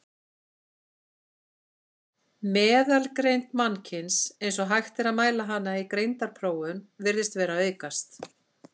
Meðalgreind mannkyns, eins og hægt er að mæla hana í greindarprófum, virðist vera að aukast.